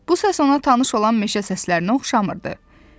Bu səs ona tanış olan meşə səslərinə oxşamırdı.